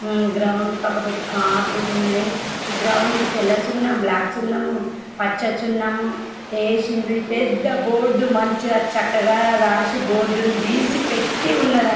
Ground పక పేటి కార్ లు ఉన్నాయి ఈ గ్రౌండ్ కి తెల్ల సున్నం బ్లాక్ సున్నం పచ్చ సున్నం ఎసిఉండ్రు ఈ పెద్ద బోర్డ్ మంచిగా చక్కగా రాసి బోర్డ్ నీ గిసి పెటి ఉన్నది.